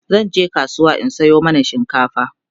zanje kasuwa in Sayo mana shinkafa